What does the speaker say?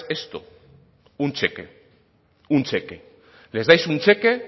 esto un cheque un cheque les dais un cheque